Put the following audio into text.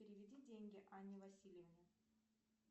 переведи деньги анне васильевне